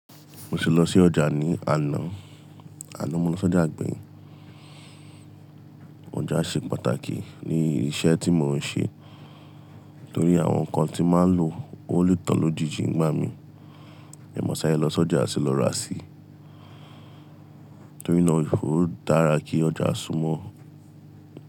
Mo ti lọ sí ọjà ní àná, àná mo lọ sọ́jà gbèyin. Ọjà ṣe pàtàkì ní iṣẹ́ tí mò ń ṣe, torí àwọn nǹkan tí máa ń lò ó lè tán lójijì ń gbà mí. Máa sáré lọ sọ́jà sì lọ ra sí, torí ná ọ́ dára kí ọjà súmọ́.